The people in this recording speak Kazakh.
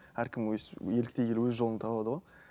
әркім өзі еліктей келе өз жолын табады ғой